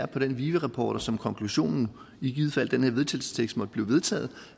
den vive rapport og som konklusionen i givet fald den her vedtagelsestekst måtte blive vedtaget